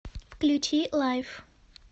включи лайф